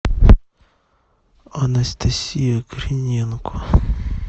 анастасия криненко